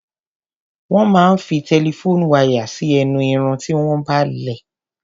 Wón máa ń fi telephone wire sí ẹnu Irun tí wọ́n bá lẹ̀.